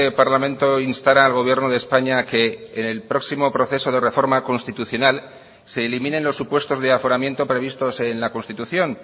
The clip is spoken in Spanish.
parlamento instara al gobierno de españa a que en el próximo proceso de reforma constitucional se eliminen los supuestos de aforamiento previstos en la constitución